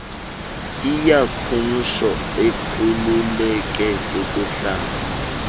iyakumtsho akhululeke kukuhlamba